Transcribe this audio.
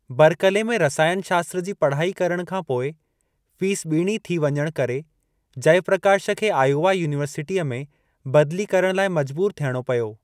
Berkeley में रसायनु शास्त्र जी पढ़ाई करण खां पोइ, फीस ॿींणी थी वञणु करे जयप्रकाश खे आयोवा युनिवर्सिटीअ में बदली करण लाइ मजबूर थियणो पियो।